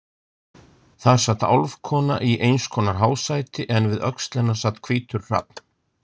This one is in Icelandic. Þar sat álfkona i einskonar hásæti en við öxl hennar sat hvítur hrafn.